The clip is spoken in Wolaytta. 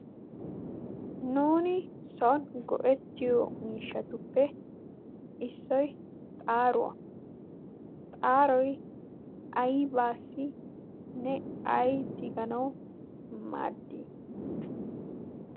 nuuni soni go'ettiyo miishshatuppe issoy xaaruwaa xaaroy aybaasinne ay tiganawu maddii?